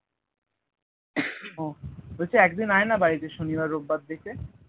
ও বলছি এক দিন আয় না বাড়িতে শনিবার রবিবার দেখে